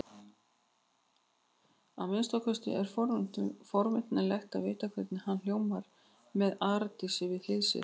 Að minnsta kosti er forvitnilegt að vita hvernig hann hljómar með Arndísi við hlið sér.